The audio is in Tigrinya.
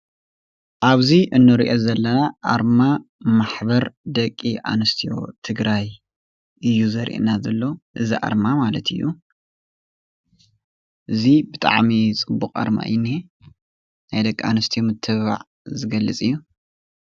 እዚ ኣርማ ወይ ከዓ ማሕተም ማሕበር ደቂ ኣንስትዮ ትግራይ እዩ።